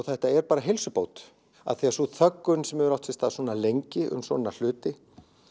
þetta er bara heilsubót af því að sú þöggun sem hefur átt sér stað svona lengi um svona hluti